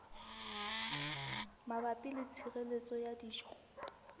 mabapi le tshireletso ya dijo